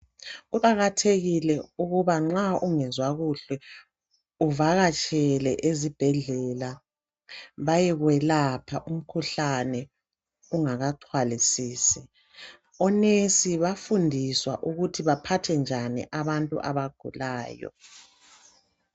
Kuqakathekile ukuba nxa ungezwa kuhle uvakatshele ezibhedlela bayekwelapha umkhuhlane ungakaxhwalisisi.O"nurse" bafundiswa ukuthi baphathe njani abantu abagulayo.